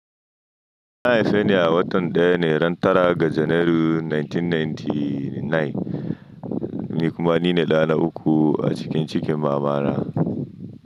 An haife ni a watan daya ne, ran tara ga Janairu 1999, ni kuma ni ne ɗa na uku a cikin cikin mamana.